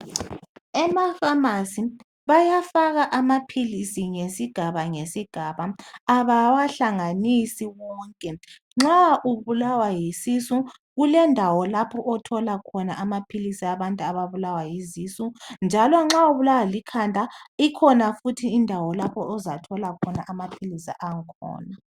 Emapharmacy bayafaka amaphilisi ngesigaba ngesigaba. Abawahlamganisi wonke. Nxa ubulawa yisisu, kulendawo lapho , othola khona amaphilisi abantu ababulawa yizisu, jealousnxa ubulawa yisisu, kulendawo. lapho ozathola khona amaphilisi akhona.